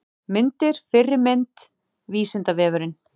Myndir Fyrri mynd: Vísindavefurinn.